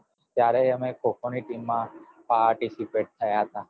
ત્યારે અમે ખો ખો ની team માં participate થયા તા